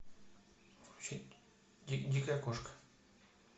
включить дикая кошка